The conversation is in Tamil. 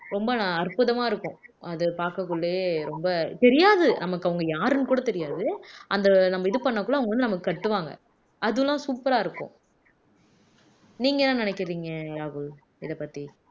ரொம்ப அற்புதமா இருக்கும் அது பார்க்கக்குள்ளயே ரொம்ப தெரியாது நமக்கு அவங்க யாருன்னு கூட தெரியாது அந்த நம்ம இது பண்ணக்குள்ள அவங்க வந்து நமக்கு கட்டுவாங்க அதெல்லாம் super ஆ இருக்கும் நீங்க என்ன நினைக்கிறீங்க ராகுல் இதப்பத்தி